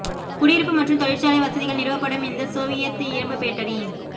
குடியிருப்பு மற்றும் தொழிற்சாலை வசதிகள் நிறுவப்படும் இந்த சோவியத் இரும்பு பேட்டரி